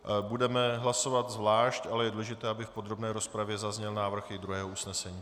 Budeme hlasovat zvlášť, ale je důležité, aby v podrobné rozpravě zazněl návrh i druhého usnesení.